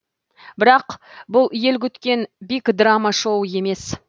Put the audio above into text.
бірақ бұл ел күткен бигдрамашоу емес